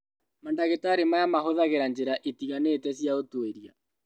Mandagĩtarĩ maya mahũthagĩra njĩra itiganĩte cia ũtuĩria